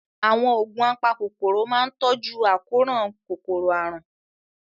Àwọn oògùn apakòkòrò máa ń tọ́jú àkóràn kòkòrò àrùn.